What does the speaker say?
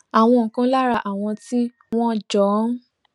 àwọn kan lára àwọn tí wón jọ ń